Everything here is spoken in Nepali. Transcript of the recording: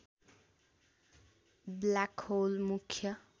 ब्ल्याक होल मुख्य